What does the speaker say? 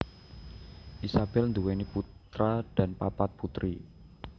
Isabel nduwèni putra dan papat putri